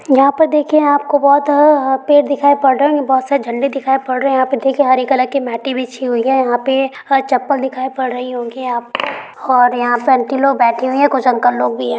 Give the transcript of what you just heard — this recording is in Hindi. यहाँ पर देखिये आपको बहुत अ पेड़ दिखाई पड़ रहे हैं। बहुत सारे झंडे दिखाई पड़ रहे हैं। यहाँ पे देखिये हरे कलर की महती बिची हुई हैं। यहाँ पे चप्पल दिखाई पड़ रही होंगी यहाँ पे और यहाँ पे आंटी लोग बैठी हुई है। कुछ अंकल लोग भी हैं।